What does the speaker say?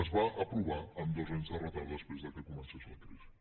es va aprovar amb dos anys de retard després que comencés la crisi